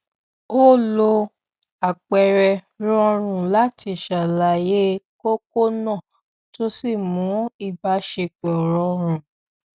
ó lo àpẹẹrẹ rọrùn láti ṣàlàyé kókó náà tó sì mú ìbáṣepọ rọrùn